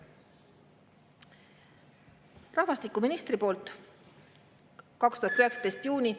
Rahvastikuministri poolt 2019. aasta juunis …